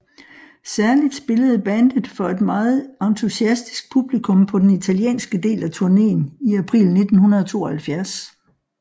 Særligt spillede bandet for et meget entusiastisk publikum på den italienske del af turneen i april 1972